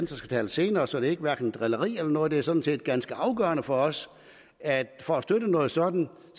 skal tale senere så det er hverken drilleri eller noget andet det er sådan set ganske afgørende for os at for at støtte noget sådant